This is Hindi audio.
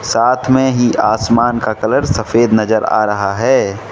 साथ में ही आसमान का कलर सफेद नजर आ रहा है।